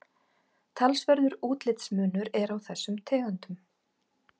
talsverður útlitsmunur er á þessum tegundum